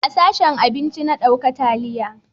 A sashen abinci na dauka taliya